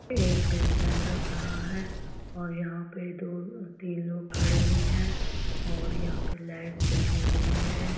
एक बेसमेंट लग रहा है और यहां पे दो तीन लोग खड़े भी हैं और यहां पे लाइट जली हुई है।